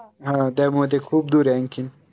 हा त्यामुळे ते खूप दूर आहे आनखीन